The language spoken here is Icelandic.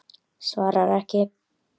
Svarar ekki.